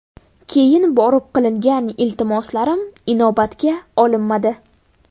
Keyin borib qilgan iltimoslarim inobatga olinmadi.